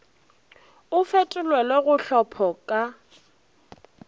o fetolelwe go tlhopho ka